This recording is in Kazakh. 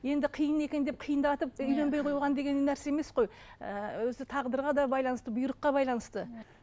енді қиын екен деп қиындатып үйленбей қойған деген нәрсе емес қой ыыы өзі тағдырға да байланысты бұйрыққа байланысты